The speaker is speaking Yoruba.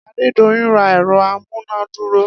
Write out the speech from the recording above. Adedoyin ra ẹ̀rọ amúnádúró